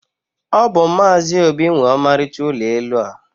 ọ bụ Maazị Obi nwe ọmarịcha ụlọ elu a.